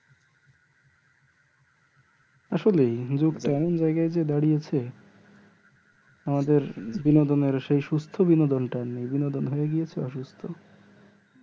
আসলে যুগটা এমন জায়গায় গিয়ে দাঁড়িয়েছে আমাদের বিনোদনে সেই সুস্থ বিনোদনটা আর নেই বিনোদন হয়ে গেলেই অসুস্থ